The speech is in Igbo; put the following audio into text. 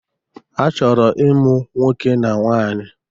Ha chọrọ ịmụ nwoke na nwaanyi.